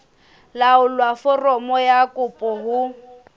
laolla foromo ya kopo ho